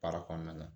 Baara kɔnɔna na